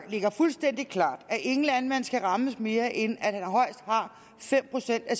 ligger fuldstændig klart at ingen landmand skal rammes mere end at højst fem procent af